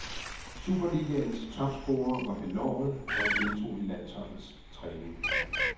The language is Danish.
Superligaens topscorer var benovet da han deltog i landsholdets træning.